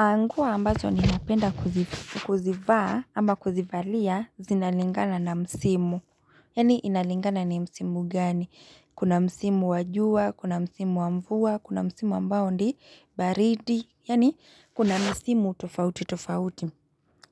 Nguo ambazo ni napenda kuzivaa ama kuzivalia zinalingana na msimu. Yani inalingana ni msimu gani. Kuna msimu wa jua, kuna msimu wamvua, kuna msimu ambao ndi baridi. Yani kuna msimu tofauti tofauti.